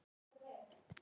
Aldur karlar konur